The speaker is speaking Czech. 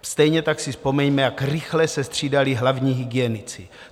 Stejně tak si vzpomeňme, jak rychle se střídali hlavní hygienici.